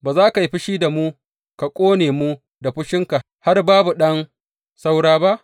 Ba za ka yi fushi da mu, ka ƙone mu da fushinka har babu ɗan saura ba?